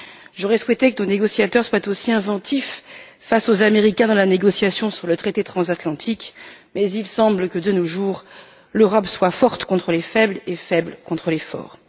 J'aurais souhaité que nos négociateurs soient aussi inventifs face aux Américains dans la négociation sur le traité transatlantique mais il semble que, de nos jours, l'Europe soit forte contre les faibles et faible contre les forts.